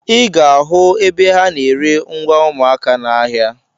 Ị ga-ahụ ebe ha na-ere ngwa ụmụaka n'ahịa.